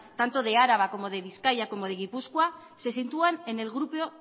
tanto de araba como de bizkaia como de gipuzkoa se sitúan